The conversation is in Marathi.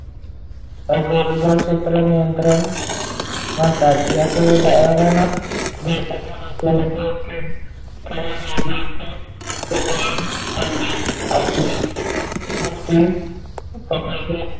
अगर दो छेत्र नियंत्रण म्हणतात याचे उदाहरण च घायच झालं तर,